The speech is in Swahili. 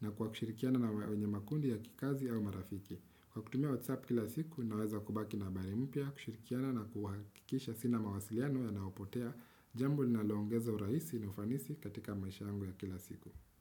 na kwa kushirikiana na wenye makundi ya kikazi au marafiki. Kwa kutumia Whatsapp kila siku naweza kubaki na bari mpya kushirikiana na kuhakikisha sina mawasiliano ya naopotea jambo linaloongeza urahisi na ufanisi katika maisha yangu ya kila siku.